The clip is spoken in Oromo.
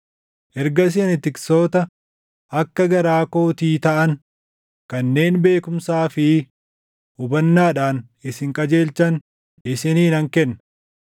Ergasii ani tiksoota akka garaa kootii taʼan, kanneen beekumsaa fi hubannaadhaan isin qajeelchan isinii nan kenna.